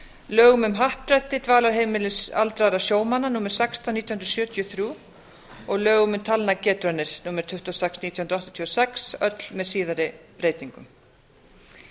lögum um happdrætti dvalarheimilis aldraðra sjómanna númer sextán nítján hundruð sjötíu og þrjú og lögum um talnagetraunir númer tuttugu og sex nítján hundruð áttatíu og sex öll með síðari breytingum